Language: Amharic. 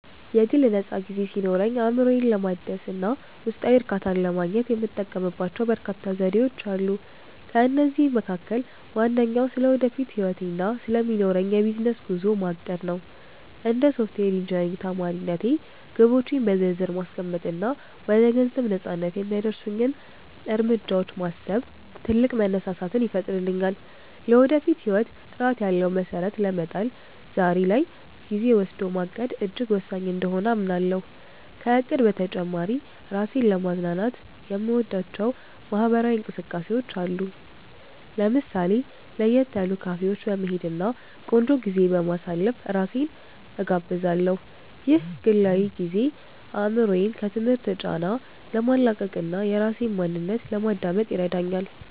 የግል ነፃ ጊዜ ሲኖረኝ፣ አእምሮዬን ለማደስ እና ውስጣዊ እርካታን ለማግኘት የምጠቀምባቸው በርካታ ዘዴዎች አሉ። ከእነዚህም መካከል ዋነኛው ስለ ወደፊት ህይወቴ እና ስለሚኖረኝ የቢዝነስ ጉዞ ማቀድ (Planning) ነው። እንደ ሶፍትዌር ኢንጂነሪንግ ተማሪነቴ፣ ግቦቼን በዝርዝር ማስቀመጥ እና ወደ ገንዘብ ነፃነት (Financial Freedom) የሚያደርሱኝን እርምጃዎች ማሰብ ትልቅ መነሳሳትን ይፈጥርልኛል። ለወደፊት ህይወት ጥራት ያለው መሰረት ለመጣል ዛሬ ላይ ጊዜ ወስዶ ማቀድ እጅግ ወሳኝ እንደሆነ አምናለሁ። ከእቅድ በተጨማሪ፣ ራሴን ለማዝናናት የምወዳቸው ማህበራዊ እንቅስቃሴዎች አሉ። ለምሳሌ፣ ለየት ያሉ ካፌዎች በመሄድ እና ቆንጆ ጊዜ በማሳለፍ ራሴን እጋብዛለሁ። ይህ ግላዊ ጊዜ አእምሮዬን ከትምህርት ጫና ለማላቀቅ እና የራሴን ማንነት ለማዳመጥ ይረዳኛል